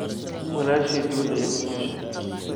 Walashey dibada aya kunoloshay.